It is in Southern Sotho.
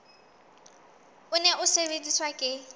o ne o sebediswa ke